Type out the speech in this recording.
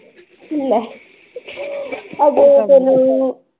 ਲੈ ਅੱਗੇ ਤੈਨੂੰ